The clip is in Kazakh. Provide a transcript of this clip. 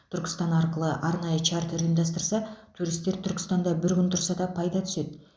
түркістан арқылы арнайы чартер ұйымдастырса туристер түркістанда бір күн тұрса да пайда түседі